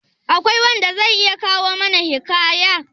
Akwai wanda wanda zai iya kawo mana hikaya?